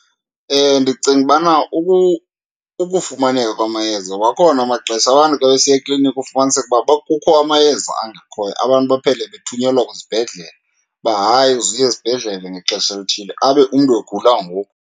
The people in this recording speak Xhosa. Ndicinga ubana ukufumaneka kwamayeza akhona amaxesha abantu xa besiya ekliniki ufumaniseke uba kukho amayeza angekhoyo. Abantu baphele bethunyelwa kwizibhedlele, uba hayi uze uye esibhedlele ngexesha elithile, abe umntu egula ngoku.